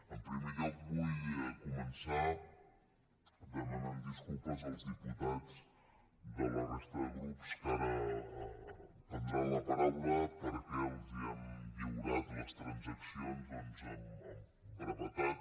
en primer lloc vull començar demanant disculpes als diputats de la resta de grups que ara prendran la paraula perquè els hem lliurat les transaccions amb brevetat